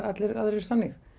allir aðrir þannig